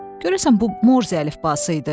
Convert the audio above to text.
Görəsən bu Morze əlifbası idi?